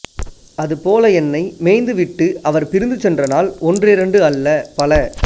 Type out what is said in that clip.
அதுபோல என்னை மேய்ந்துவிட்டு அவர் பிரிந்து சென்ற நாள் ஒன்றிரண்டு அல்ல பல